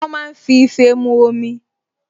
Wọ́n máa ń fi ife mu omi